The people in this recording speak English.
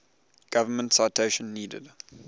government citation needed